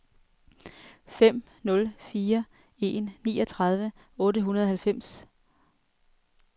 fem nul fire en niogtredive otte hundrede og halvfems